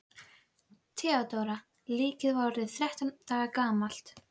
THEODÓRA: Líkið var orðið þrettán daga gamalt.